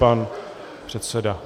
Pan předseda.